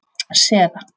Sera